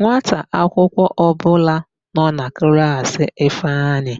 Nwata akwụkwọ ọbụla nọ na klaasị Ifeanyị